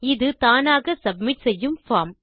இது தானாக சப்மிட் செய்யும் பார்ம்